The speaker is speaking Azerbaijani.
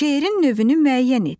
Şeirin növünü müəyyən et.